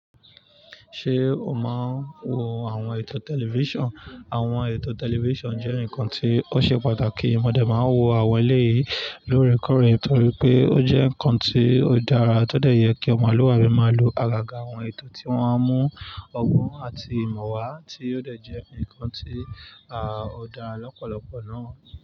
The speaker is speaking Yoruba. Ṣé o máa ń wo àwọn ètò tẹlifíṣàn? Àwọn ètò tẹlifíṣàn jẹ́ nǹkan tí ó ṣe pàtàkì. Mọ̀ dẹ̀ máa ń wo àwọn eléyìí lórẹkọrẹ torí pé ó jẹ́ nǹkan tí ó dára tọ dẹ̀ yẹ kí ọmọ àlùwàbí máa lo àgàgà àwọn ètò tí wọ́n á mú ọgbọ́n àti ìmọ̀ wá tí ó dẹ̀ jẹ́ nǹkan tí a ó dá lọ́pọ̀lọpọ̀ náà.